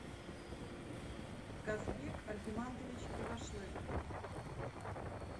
казбек альгимантович кривошлык